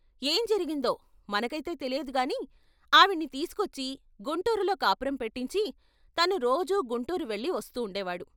ఏం జరిగిందో మనకైతే తెలియదు గాని ఆవిణ్ణి తీసుకొచ్చి గుంటూరులో కాపురం పెట్టించి తను రోజూ గుంటూరు వెళ్ళి వస్తూండే వాడు.